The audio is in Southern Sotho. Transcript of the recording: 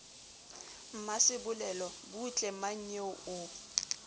mmasebolelo butle bo mmanyeo o